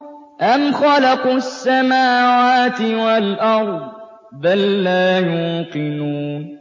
أَمْ خَلَقُوا السَّمَاوَاتِ وَالْأَرْضَ ۚ بَل لَّا يُوقِنُونَ